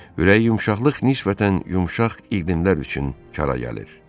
Ürək yumşaqlıq nisbətən yumşaq iqlimlər üçün yara gəlir.